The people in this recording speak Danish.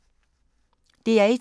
DR1